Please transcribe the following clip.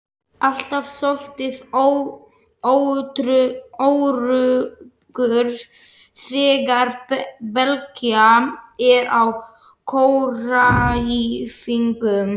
Alltaf soldið óöruggur þegar Bylgja er á kóræfingum.